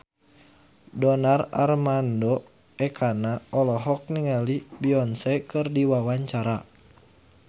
Donar Armando Ekana olohok ningali Beyonce keur diwawancara